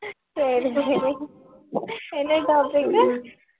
சரி சரி என்ன topic க்கு?